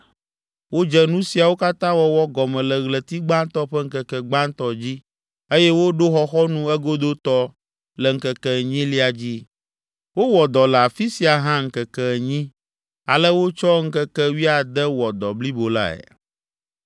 Wodze nu siawo katã wɔwɔ gɔme le Ɣleti gbatɔ ƒe ŋkeke gbãtɔ dzi eye woɖo xɔxɔnu egodotɔ le ŋkeke enyilia dzi. Wowɔ dɔ le afi sia hã ŋkeke enyi; ale wotsɔ ŋkeke wuiade wɔ dɔ blibo lae.